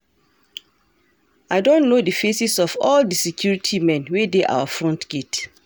I don know the faces of all the security men wey dey our front gate